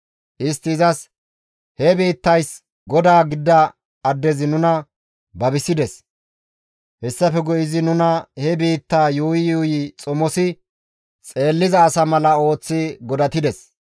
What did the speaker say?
Istti izas, «He biittays godaa gidida addezi nuna babisides; hessafe guye izi nuna he biittaa yuuyi yuuyi xomosi xeelliza asa mala ooththi godatides.